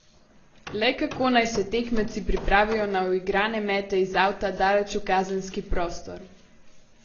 Le kako naj se tekmeci pripravijo na uigrane mete iz avta daleč v kazenski prostor?